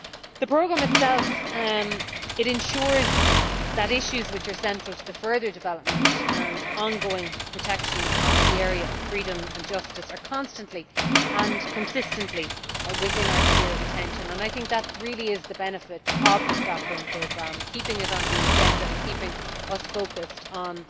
The Programme itself ensures that issues that are central to the further development and ongoing protection of the area of freedom and justice are constantly and consistently within our sphere of attention, and I think that really is the benefit of the Stockholm Programme keeping it on the agenda and keeping us focussed on